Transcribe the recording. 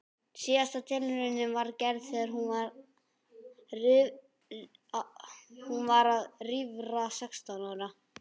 Síðasta tilraunin var gerð þegar hún var rífra sextán ára.